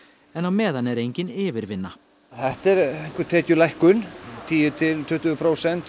en á meðan er engin yfirvinna þetta er einhver tekjulækkun tíu til tuttugu prósent